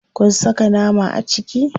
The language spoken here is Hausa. Kun saka nama a ciki?